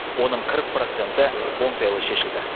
оның қырық проценті оңтайлы шешілді